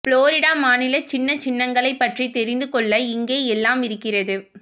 Florida மாநில சின்ன சின்னங்களைப் பற்றி தெரிந்து கொள்ள இங்கே எல்லாம் இருக்கிறது